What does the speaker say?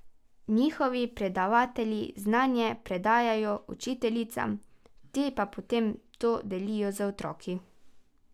Njihovi predavatelji znanje predajajo učiteljicam, te pa potem to delijo z otroki.